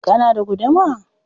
Kana da guduma?